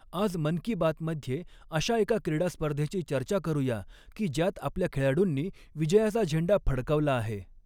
आज मन की बात मध्य़े अशा एका क्रीडास्पर्धेची चर्चा करू या की ज्यात आपल्या खेळाडूंनी विजयाचा झेंडा फडकवला आहे.